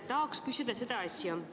Tahan küsida sellist asja.